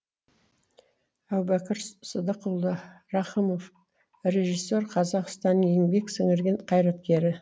әубәкір сыдықұлы рақымов режиссер қазақстан еңбек сіңірген қайраткері